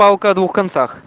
палка о двух концах